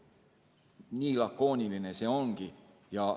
Nii lakooniline see ongi.